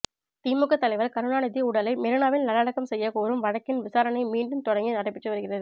திமுக தலைவர் கருணாநிதி உடலை மெரினாவில் நல்லடக்கம் செய்ய கோரும் வழக்கின் விசாரணை மீண்டும் தொடங்கி நடைபெற்று வருகிறது